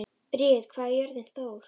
Briet, hvað er jörðin stór?